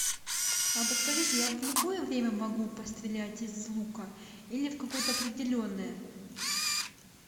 а подскажите я в любое время могу пострелять из лука или в каое то определенное